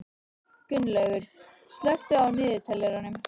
Gunnlaugur, slökktu á niðurteljaranum.